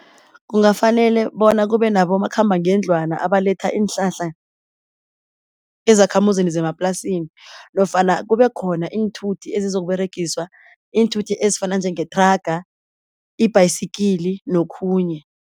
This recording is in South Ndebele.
Kungafanele bona kube nabomakhambangendlwana abaletha iinhlahla ezakhamuzini zemaplasini, nofana kube khona iinthuthi ezizokUberegiswa iinthuthi ezifana njengethraga, i-bicycle nokhunye.